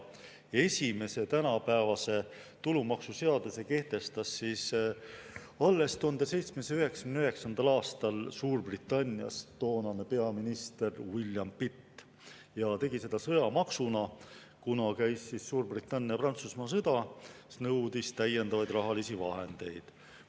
Esimese tänapäevase tulumaksuseaduse kehtestas alles 1799. aastal Suurbritannias toonane peaminister William Pitt ja tegi seda sõjamaksuna, kuna käis Suurbritannia-Prantsusmaa sõda, mis nõudis täiendavaid rahalisi vahendeid.